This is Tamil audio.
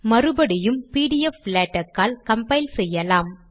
மறுபடியும் பிடிஎப்ளாடெக்ஸ் ஆல் கம்பைல் செய்யலாம்